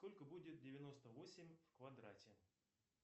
сколько будет девяносто восемь в квадрате